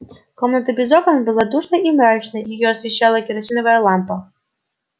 комната без окон была душной и мрачной её освещала керосиновая лампа